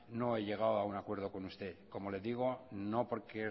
no he llegado a un acuerdo con usted como le digo no porque